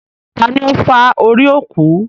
Tani ó fá orí òkú?